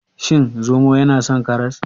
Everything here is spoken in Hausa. Shin zomo yana son karas?